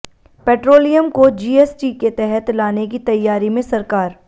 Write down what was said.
petroleum को GST के तहत लाने की तैयारी में सरकार